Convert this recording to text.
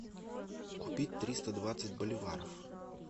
купить триста двадцать боливаров